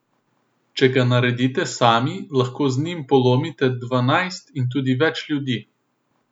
Če ga naredite sami, lahko z njim polomite dvanajst in tudi več ljudi.